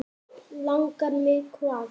Langar mig hvað?